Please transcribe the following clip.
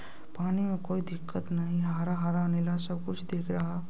पानी में कोई दिक्कत नहीं है हरा-हरा नीला सब कुछ दिख रहा --